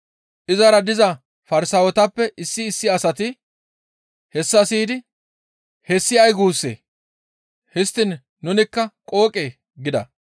Izara diza Farsaawetappe issi issi asati hessa siyidi, «Hessi ay guussee? Histtiin nunikka qooqee?» gida.